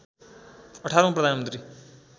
१८ औँ प्रधानमन्त्री